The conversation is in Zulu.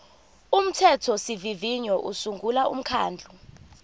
umthethosivivinyo usungula umkhandlu